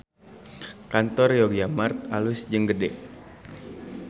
Kantor Yogyamart alus jeung gede